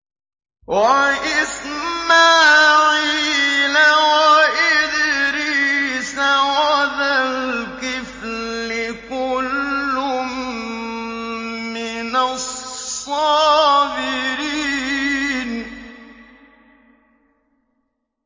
وَإِسْمَاعِيلَ وَإِدْرِيسَ وَذَا الْكِفْلِ ۖ كُلٌّ مِّنَ الصَّابِرِينَ